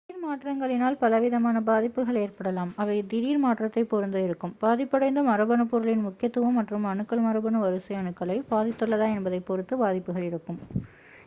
திடீர் மாற்றங்களினால் பலவிதமான பாதிப்புகள் ஏற்படலாம் அவை திடீர்மாற்றத்தை பொருத்து இருக்கும் பாதிபடைந்த மரபணு பொருளின் முக்கியத்துவம் மற்றும் அணுக்கள் மரபணு வரிசை அணுக்களை பாதித்துள்ளதா என்பதைப் பொருத்து பாதிப்புகள் இருக்கும்